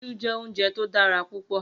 Iṣú jè óunjè to dàrá púpò